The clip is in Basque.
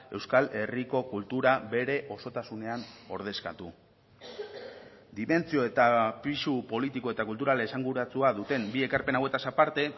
euskal herriko kultura bere osotasunean ordezkatu dimentsio eta pisu politiko eta kulturala esanguratsua duten bi ekarpen hauetaz aparte